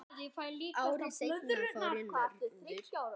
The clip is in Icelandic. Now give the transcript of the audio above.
Ári seinna fór ég norður.